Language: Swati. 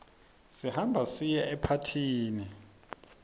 siyahamba siye emapathini